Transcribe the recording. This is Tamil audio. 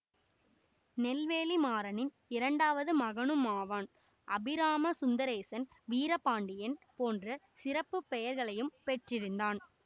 நெல்வேலி மாறனின் இரண்டாவது மகனுமாவான் அபிராம சுந்ரேசன் வீரபாண்டியன் போன்ற சிறப்புப்பெயர்களையும் பெற்றிருந்தான்